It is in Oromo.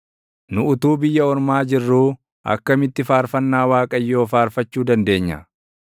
Nu utuu biyya ormaa jirruu, akkamitti faarfannaa Waaqayyoo faarfachuu dandeenya?